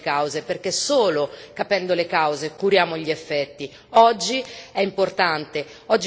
Quindi dobbiamo ricordarci sempre quali sono le cause, perché solo capendo le cause curiamo gli effetti.